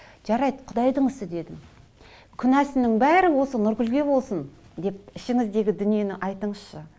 жарайды құдайдың ісі дедім күнәсінің бәрі осы нұргүлге болсын деп ішіңіздегі дүниені айтыңызшы